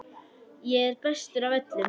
Ég er bestur af öllum!